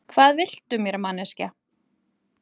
Hvað viltu mér, manneskja?